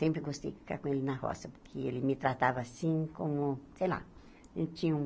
Sempre gostei de ficar com ele na roça, porque ele me tratava assim como, sei lá, tinha um